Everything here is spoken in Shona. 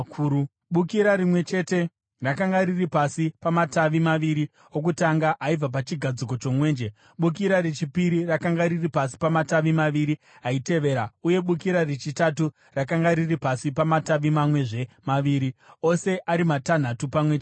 Bukira rimwe chete rakanga riri pasi pamatavi maviri okutanga aibva pachigadziko chomwenje, bukira rechipiri rakanga riri pasi pamatavi maviri aitevera, uye bukira rechitatu rakanga riri pasi pamatavi mamwezve maviri, ose ari matanhatu pamwe chete.